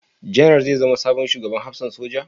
Janar zai zama sabon Shugaban Hafsan Soja?